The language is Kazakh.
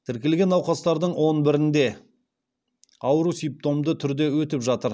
тіркелген науқастардың он бірінде ауру симптомды түрде өтіп жатыр